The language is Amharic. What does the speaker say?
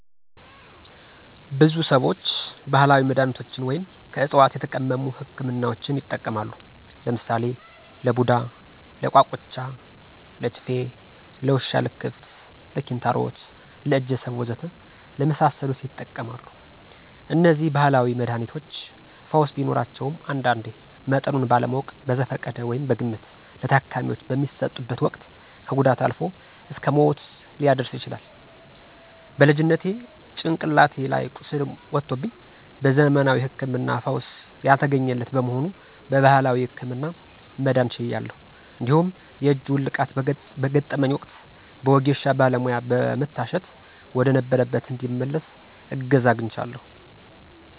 ብዙ ሰዎች ባህላዊ መድሃኒቶችን ወይም ከዕፅዋት የተቀመሙ ህክምናዎችን ይጠቀማሉ። ለምሳሌ ለቡዳ፣ ለቋቁቻ፣ ለችፌ፣ ለውሻ ልክፍት፣ ለኪንታሮት፣ ለእጀሰብ ወዘተ ለመሳሰሉት ይጠቀማሉ። እነዚህ ባህላዊ መድሃኒቶች ፈውስ ቢኖራቸውም አንዳንዴ መጠኑን ባለማወቅ በዘፈቀደ (በግምት) ለታካሚው በሚሰጡበት ወቅት ከጉዳት አልፎ እስከ ሞት ሊያደርስ ይችላል። በልጅነቴ ጭንቅላቴ ላይ ቁስል ወጦብኝ በዘመናዊ ህክምና ፈውስ ያልተገኘለት በመሆኑ በባህላዊው ህክምና መዳን ችያለሁ። እንዲሁም የእጅ ውልቃት በገጠመኝ ወቅት በወጌሻ ባለሙያ በመታሸት ወደነበረበት እንዲመለስ እገዛ አግኝቻለሁ።